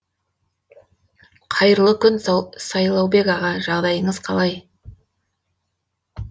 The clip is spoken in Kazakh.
қайырлы күн сайлаубек аға жағдайыңыз қалай